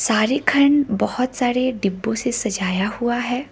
सारे खंड बहोत सारे डिब्बों से सजाया हुआ है।